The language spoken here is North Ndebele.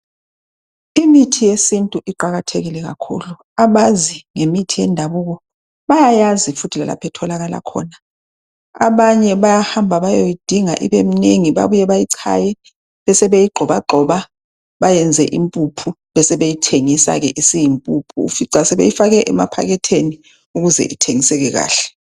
imithi yesintu iqakathekile kakhulu ,abazi ngemithi yendabuko bayayazi futhi lalapho etholakala khona ,abanye bayahamba bayeyidinga ibemnengi babuye, bayichaye besebeyi gxobagxoba bayenza impuphu besebeyithengisa ke isiyimpuphu ,ufica sebeyifake emapaketheni ukuze ithengiseke kahle